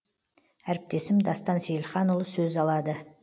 әріптесім дастан сейілханұлы сөз алады